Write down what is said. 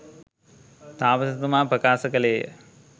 තාපසතුමා ප්‍රකාශ කළේ ය.